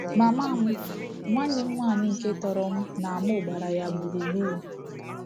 Mama m, nwanne m nwaanyị nke tọrọ m na mụ gbara ya gburugburu.